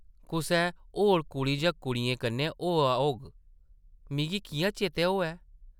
कुसै होर कुड़ी जां कुड़ियें कन्नै होआ होग, मिगी किʼयां चेतै होऐ?